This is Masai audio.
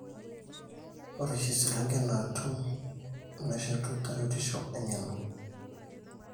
ore oshi iselengen naatum nemeshetu tarueshisho eng'eno.